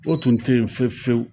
O tun tɛ yen fewu fewu.